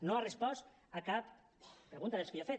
no ha respost a cap pregunta de les que jo he fet